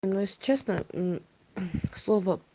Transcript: ну если честно к слову